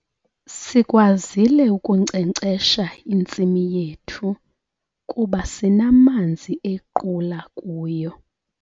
Sikwazile ukunkcenkcesha intsimi yethu kuba sinamanzi equla kuyo.